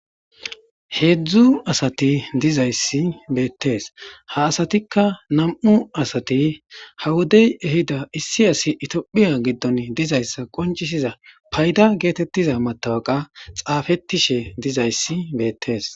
Hezdzdu asati dizaysi beetes. Ha asatikka nam'u asati ha wodey ehidda issi asi toophphiya gidon dizaysa qonc'isiza paydda getetiza matawqa xafetishe dizayssi beetes.